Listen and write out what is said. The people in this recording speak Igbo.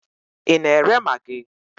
Ị na-ere magị?